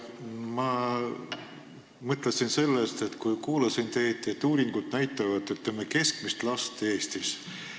Ma mõtlesin sellest, kui kuulasin teid, et uuringud näitavad, ütleme, keskmist last Eestis.